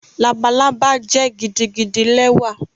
Labalaba jẹ gidigidi lẹwa